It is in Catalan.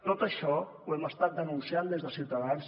tot això ho hem estat denunciant des de ciutadans